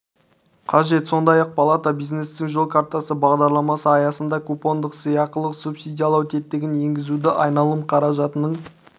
қажет сондай-ақ палата бизнестің жол картасы бағдарламасы аясында купондық сыйақылық субсидиялау тетігін енгізуді айналым қаражатының